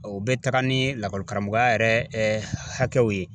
O bɛ taga ni lakɔli karamɔgɔya yɛrɛ hakɛw ye.